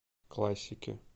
классики